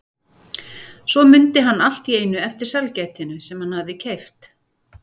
Svo mundi hann allt í einu eftir sælgætinu sem hann hafði keypt.